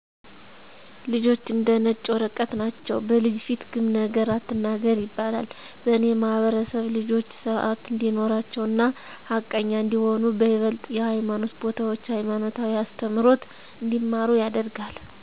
ልጆች እንደ ነጭ ወረቀት ናቸዉ። " በልጅ ፊት ግም ነገር አትናገር " ይባላል በእኔ ማህበረሰብ ልጆች ስርአት እንዲኖራቸው እና ሀቀኛ እንዲሆኑ በይበልጥ የሀይማኖት ቦታዎች ሀይማኖታዊ አስተምሮት እንዲማሩ ይደረጋል።